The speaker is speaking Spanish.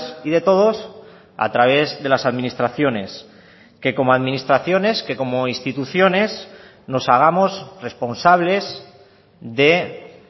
y de todos a través de las administraciones que como administraciones que como instituciones nos hagamos responsables de